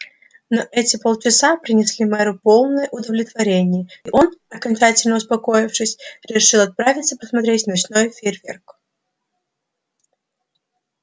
но эти полчаса принесли мэру полное удовлетворение и он окончательно успокоившись решил отправиться посмотреть ночной фейерверк